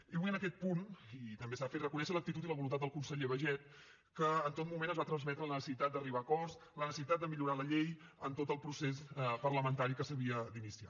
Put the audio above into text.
i vull en aquest punt i també s’ha de fer reconèixer l’actitud i la voluntat del conseller baiget que en tot moment ens va transmetre la necessitat d’arribar a acords la necessitat de millorar la llei en tot el procés parlamentari que s’havia d’iniciar